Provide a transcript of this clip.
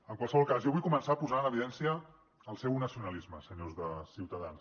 en qualsevol cas jo vull començar posant en evidència el seu nacionalisme senyors de ciutadans